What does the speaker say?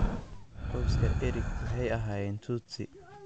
Qoyska Eric waxay ahaayeen Tutsi.